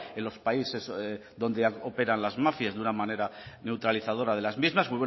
en los países donde operan las mafias de una manera neutralizadora de las mismas